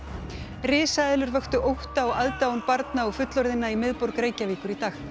risaeðlur vöktu ótta og aðdáun barna og fullorðinna í miðborg Reykjavíkur í dag